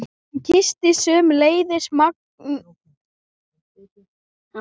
Hún kyssti sömuleiðis mágkonu sína og börnin.